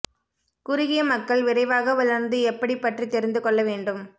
குறுகிய மக்கள் விரைவாக வளர்ந்து எப்படி பற்றி தெரிந்து கொள்ள வேண்டும்